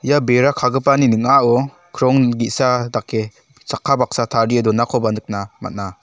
ia bera kagipani ning·ao krong ge·sa dake chakka baksa tarie donakoba nikna man·a.